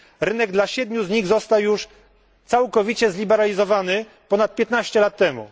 Rynek dla siedmiu z nich został już całkowicie zliberalizowany ponad 15 lat temu.